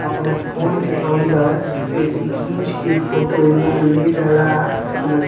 अपना फ़ोन के अंदर एथी घींच के फोटो लोग ले जा ला अपना घ --